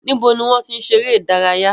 Níbo ni wọ́n ti ń ṣeré ìdárayá?